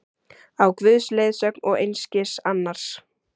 Á Guðs leiðsögn og einskis annars!